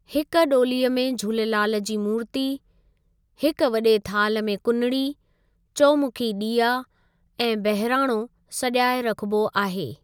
हिकु डो॒लीअ में झूलेलाल जी मूरति, हिक वडे॒ थाल्ह में कुनड़ी, चौमुखी डि॒या ऐं बहिराणो सॼाए रखिबो आहे।